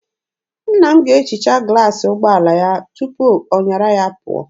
Nna m ga-ehicha glaasị ụgbọala ya tupu ọ nyara ya pụọ.